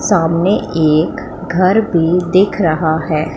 सामने एक घर भी दिख रहा है।